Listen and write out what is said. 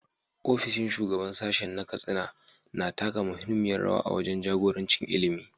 Ofishin Shugaban Sashen na Katsina na taka muhimmiyar rawa wajen jagoranci ilimi.